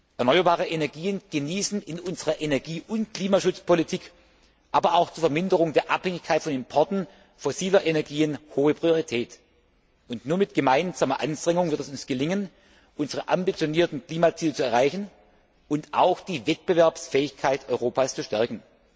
Erneuerbare Energien genießen in unserer Energie und Klimaschutzpolitik, aber auch zur Verminderung der Abhängigkeit von Importen fossiler Energien hohe Priorität. Nur mit gemeinsamer Anstrengung wird es uns gelingen, unsere ambitionierten Klimaziele zu erreichen und auch die Wettbewerbsfähigkeit Europas zu stärken.